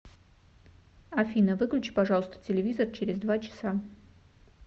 афина выключи пожалуйста телевизор через два часа